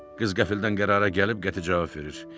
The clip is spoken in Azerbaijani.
Qız qəfildən qərara gəlib qəti cavab verir.